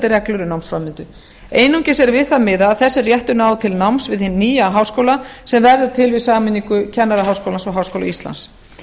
reglur við námsframvindu einungis er við það miðað að þessi réttur nái til náms við hinn nýja háskóla sem verður til við sameiningu kennaraháskólans og háskóla íslands